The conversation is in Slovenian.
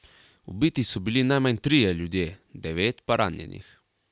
Ubiti so bili najmanj trije ljudje, devet pa ranjenih.